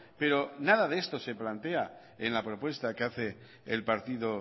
pero nada de esto se plantea en la propuesta que hace el partido